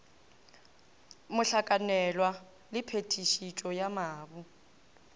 mohlakanelwa le phetišetšo ya mabu